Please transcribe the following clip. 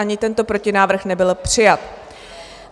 Ani tento protinávrh nebyl přijat.